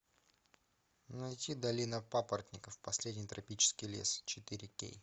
найти долина папоротников последний тропический лес четыре кей